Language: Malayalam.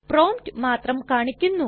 പ്രോംപ്റ്റ് മാത്രം കാണിക്കുന്നു